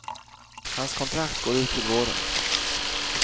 Hans kontrakt går ut till våren.